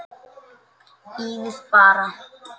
Bíðið bara.